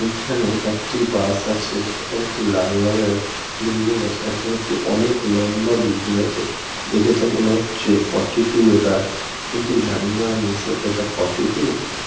এইখানে একটি বাস আছে। এখানে একটি লাল রঙের বিল্ডিং আছে। আর এখানে একটি অনেক লম্বা বিল্ডিং আছে। দেখেতো মনে হচ্ছে ফোর্টি টু এটা। কিন্তু জানিনা আমি সো এটা ফোর্টি টু ?